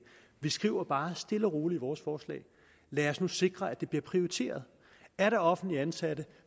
vi skriver bare stille og roligt i vores forslag lad os nu sikre at det bliver prioriteret er der offentligt ansatte